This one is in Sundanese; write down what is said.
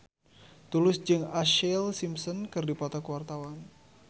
Tulus jeung Ashlee Simpson keur dipoto ku wartawan